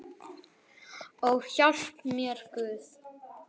Ó, hjálpi mér Guð!